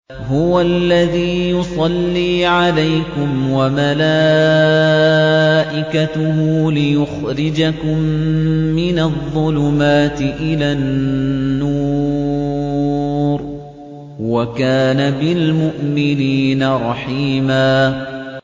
هُوَ الَّذِي يُصَلِّي عَلَيْكُمْ وَمَلَائِكَتُهُ لِيُخْرِجَكُم مِّنَ الظُّلُمَاتِ إِلَى النُّورِ ۚ وَكَانَ بِالْمُؤْمِنِينَ رَحِيمًا